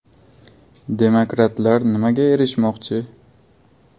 Demokratlar nimaga erishmoqchi?